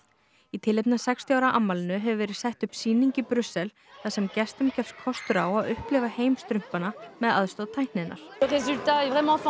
í tilefni af sextíu ára afmælinu hefur verið sett upp sýning í Brussel þar sem gestum gefst kostur á að upplifa heim strumpanna með aðstoð tækninnar